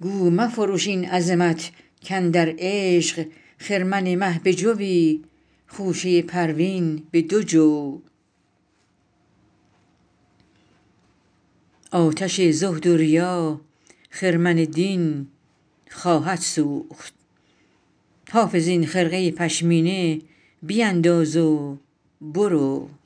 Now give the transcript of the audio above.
گو مفروش این عظمت کاندر عشق خرمن مه به جوی خوشه پروین به دو جو آتش زهد و ریا خرمن دین خواهد سوخت حافظ این خرقه پشمینه بینداز و برو